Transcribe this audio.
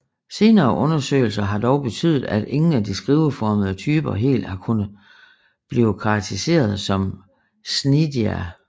Senere undersøgelser har dog betydet at ingen af de skiveformede typer helt har kunnet blive karakteriseret som cnidaria